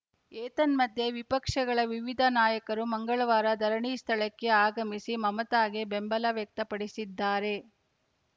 ಏತನ್ಯಧ್ಯೆ ವಿಪಕ್ಷಗಳ ವಿವಿಧ ನಾಯಕರು ಮಂಗಳವಾರ ಧರಣಿ ಸ್ಥಳಕ್ಕೆ ಆಗಮಿಸಿ ಮಮತಾಗೆ ಬೆಂಬಲ ವ್ಯಕ್ತಪಡಿಸಿದ್ದಾರೆ